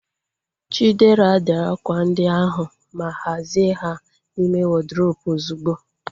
Chidera, dee akwa ndi ahu ma hazie ha n'ime wọdrobu ozugbo!